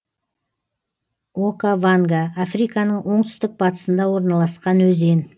окаванга африканың оңтүстік батысында орналасқан өзен